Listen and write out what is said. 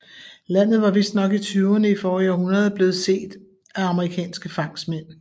Landet var vistnok i tyverne i forrige århundrede blevet set af amerikanske fangstmænd